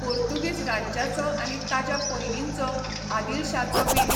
पोर्तुगीज राज्याचो आनी ताज्या पयलींचो, अदिलशाचो बीन.